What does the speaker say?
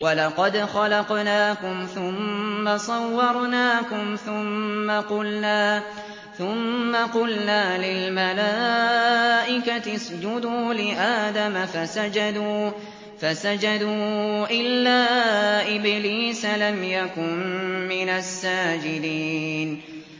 وَلَقَدْ خَلَقْنَاكُمْ ثُمَّ صَوَّرْنَاكُمْ ثُمَّ قُلْنَا لِلْمَلَائِكَةِ اسْجُدُوا لِآدَمَ فَسَجَدُوا إِلَّا إِبْلِيسَ لَمْ يَكُن مِّنَ السَّاجِدِينَ